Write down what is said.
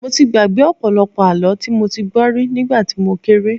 Mo ti gbàgbé ọ̀pọ̀lọpọ̀ àlọ́ tí mo ti gbọ́ rí nígbà tí mo kéré